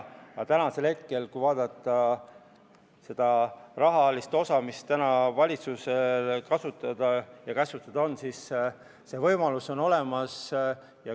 Aga kui vaadata seda rahalist osa, mis on praegu valitsusel kasutada ja käsutada, siis võimalused on olemas.